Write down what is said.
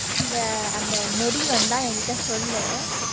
அந்த அந்த நொடி வந்தா என்கிட்ட சொல்லு